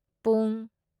ꯄꯨꯡ